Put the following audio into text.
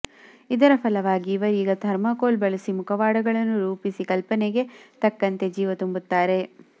ಇದರ ಫಲವಾಗಿ ಇವರೀಗ ಥರ್ಮಾಕೋಲ್ ಬಳಸಿ ಮುಖವಾಡಗಳನ್ನು ರೂಪಿಸಿ ಕಲ್ಪನೆಗೆ ತಕ್ಕಂತೆ ಜೀವ ತುಂಬುತ್ತಾರೆ